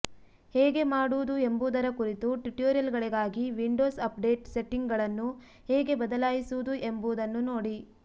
ಹೇಗೆ ಮಾಡುವುದು ಎಂಬುದರ ಕುರಿತು ಟ್ಯುಟೋರಿಯಲ್ಗಳಿಗಾಗಿ ವಿಂಡೋಸ್ ಅಪ್ಡೇಟ್ ಸೆಟ್ಟಿಂಗ್ಗಳನ್ನು ಹೇಗೆ ಬದಲಾಯಿಸುವುದು ಎಂಬುದನ್ನು ನೋಡಿ